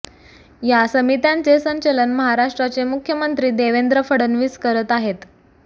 या समित्यांचे संचलन महाराष्ट्राचे मुख्यमंत्री देवेंद्र फडणवीस करत आहेत